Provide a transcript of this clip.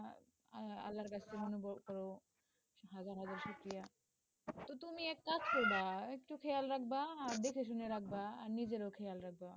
আল্লাহর কাছে অনুভব কর, হাজার হাজার শুকরিয়া, তো তুমি এক কাজ কর, একটু খেয়াল রাখবা আর দেখে শুনে রাখবা, আর নিজেরও খেয়াল রাখবা.